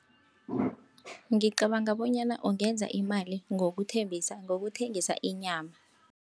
Ngicabanga bonyana ungenza imali, ngokuthembisa, ngokuthengisa inyama.